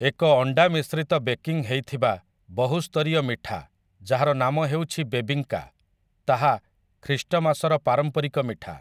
ଏକ ଅଣ୍ଡା ମିଶ୍ରିତ ବେକିଂ ହେଇ ଥିବା ବହୁସ୍ତରୀୟ ମିଠା ଯାହାର ନାମ ହେଉଛି ବେବିଙ୍କା, ତାହା ଖ୍ରୀଷ୍ଟମାସର ପାରମ୍ପରିକ ମିଠା ।